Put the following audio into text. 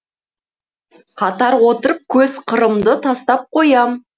қатар отырып көз қырымды тастап қоям